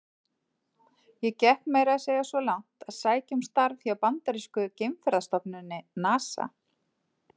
Ég gekk meira að segja svo langt að sækja um starf hjá bandarísku geimferðastofnuninni, NASA.